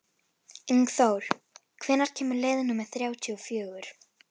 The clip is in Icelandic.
Ingþór, hvenær kemur leið númer þrjátíu og fjögur?